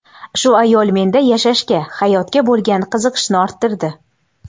Shu ayol menda yashashga, hayotga bo‘lgan qiziqishni orttirdi.